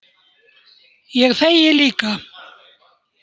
Ég þegi líka.